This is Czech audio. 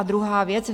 A druhá věc.